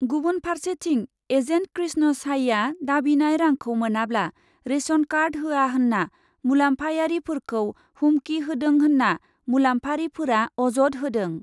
गुबुन फार्सेथिं, एजेन्ट कृष्ण साइआ दाबिनाय रांखौ मोनाब्ला रेसन कार्ड होया होन्ना मुलाम्फायारिफोरखौ हुमखि होदों होन्ना मुलाम्फारिफोरा अजद होदों।